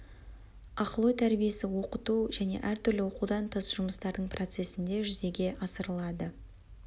ақыл ой тәрбиесі оқыту және әртүрлі оқудан тыс жұмыстардың процесінде жүзеге асырылады